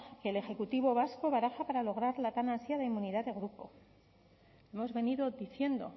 que el ejecutivo vasco baraja para lograr la tan ansiada inmunidad de grupo hemos venido diciendo